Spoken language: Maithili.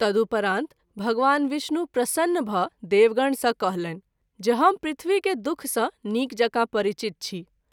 तदुपरांत भगवान विष्णु प्रसन्न भ’ देवगण सँ कहलनि जे हम पृथ्वी के दु:ख सँ नीक जकाँ परिचित छी।